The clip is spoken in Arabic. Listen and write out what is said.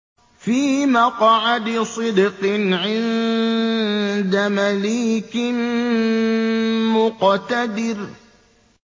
فِي مَقْعَدِ صِدْقٍ عِندَ مَلِيكٍ مُّقْتَدِرٍ